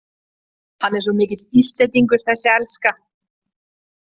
Hann er svo mikill Íslendingur, þessi elska!